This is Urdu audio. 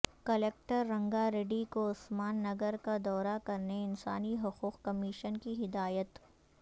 کلکٹر رنگاریڈی کو عثمان نگر کا دورہ کرنے انسانی حقوق کمیشن کی ہدایت